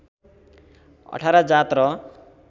१८ जात र